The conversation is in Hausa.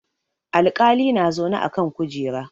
Alƙali na zaune a kan kujera.